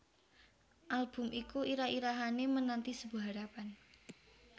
Album iku irah irahané Menanti Sebuah Harapan